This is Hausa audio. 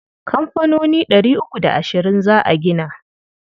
Kamfanoni ɗari uku da ashirin za a gina.